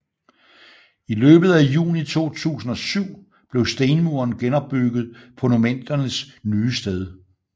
I løbet af juni 2007 blev stenmuren genopbygget på monumentets nye sted